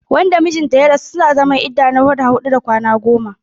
Wanda mijin ta ya rasu suna zaman idda na wata huɗu da kwana goma.